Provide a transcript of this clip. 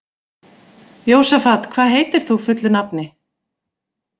Jósafat, hvað heitir þú fullu nafni?